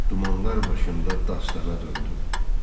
Dumanlar başında dastana döndüm.